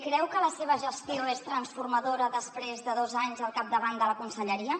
creu que la seva gestió és transformadora després de dos anys al capdavant de la conselleria